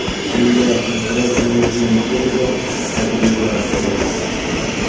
Unda inqiroz-menejmenti bilan tajribasi bor.